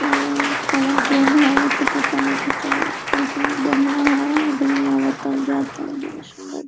अम्म कोन ट्रैन ह ऐसी पता नईखे चलतलेकिन बढ़िया हआदमी आवता जाता बड़ी सुन्दर--